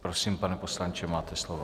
Prosím, pane poslanče, máte slovo.